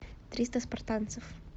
триста спартанцев